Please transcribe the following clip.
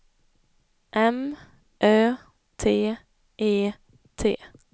M Ö T E T